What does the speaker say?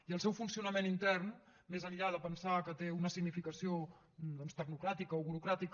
i el seu funcionament intern més enllà de pensar que té una significació doncs tecnocràtica o burocràtica